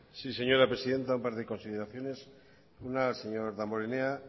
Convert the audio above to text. sí señora presidenta un par de consideraciones una señor damborenea